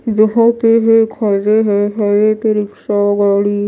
यहां पे खड़े हैं हरे रिक्शा गाड़ी--